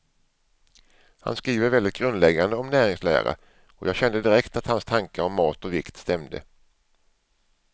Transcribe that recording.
Han skriver väldigt grundläggande om näringslära, och jag kände direkt att hans tankar om mat och vikt stämde.